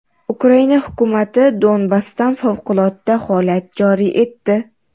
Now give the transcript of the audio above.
Ukraina hukumati Donbassda favqulodda holat joriy etdi.